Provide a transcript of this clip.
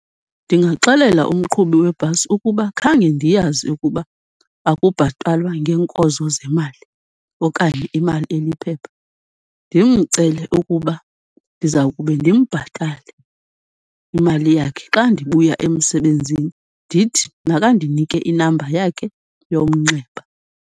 Ndingaxelela umqhubi webhasi ukuba khange ndiyazi ukuba akubhatalwa ngeenkozo zemali okanye imali eliphepha. Ndimcele ukuba ndiza kube ndimbhatale imali yakhe xa ndibuya emsebenzini, ndithi makandinike inamba yakhe yomnxeba.